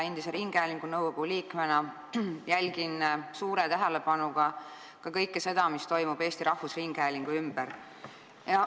Ringhäälingunõukogu endise liikmena jälgin suure tähelepanuga ka kõike seda, mis toimub Eesti Rahvusringhäälingu ümber.